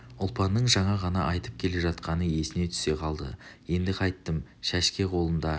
ұлпанның жаңа ғана айтып келе жатқаны есіне түсе қалды енді қайттім шәшке қолында